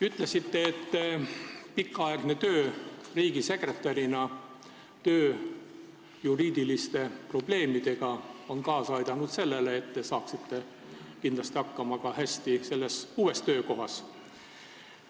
Ütlesite, et pikaaegne töö riigisekretärina, töö juriidiliste probleemidega peaks kaasa aitama sellele, et te saate hästi hakkama ka uues töökohas.